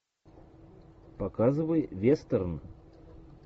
показывай вестерн